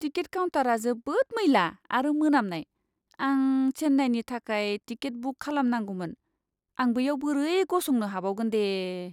Ticket काउन्टारआ जोबोद मैला आरो मोनामनाय! आं चेन्नाईनि थाखाय टिकेट बुक खालामनांगौमोन, आं बैयाव बोरै गसंनो हाबावगोन दे!